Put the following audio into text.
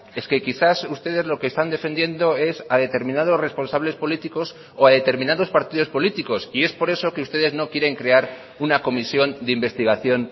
es que quizás ustedes lo que están defendiendo es a determinados responsables políticos o a determinados partidos políticos y es por eso que ustedes no quieren crear una comisión de investigación